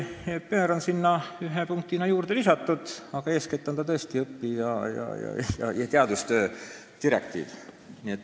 Au pair'id on sinna ühe punktina juurde lisatud, aga eeskätt on see õpi- ja teadusrände direktiiv.